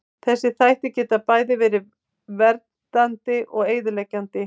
Þessir þættir geta bæði verið verið verndandi og eyðileggjandi.